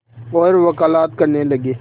और वक़ालत करने लगे